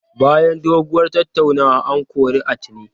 Bayan doguwar tattaunawa, an kori Atine.